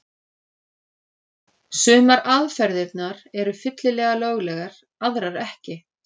Sumar aðferðirnar eru fyllilega löglegar, aðrar ekki.